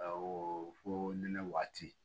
fo nɛnɛ waati